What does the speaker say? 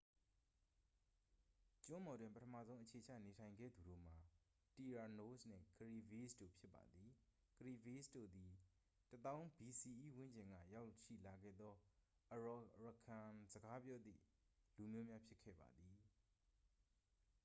ကျွန်းပေါ်တွင် ပထမဆုံးအခြေချနေထိုင်ခဲ့သူတို့မှာ တီရာနိုးစ် နှင့် ကရီဘီးစ် တို့ဖြစ်ပါသည်။ ကရီဘီးစ် တို့သည် ၁၀,၀၀၀ bce ဝန်းကျင်ကရောက်ရှိလာခဲ့သော arawakan-စကားပြောသည့်လူမျိုးများ ဖြစ်ခဲ့ပါသည်။